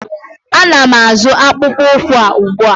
Ana m azụ akpụkpọ ụkwụ a ugbu a.